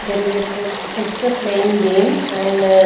There is a kud kids playing game and--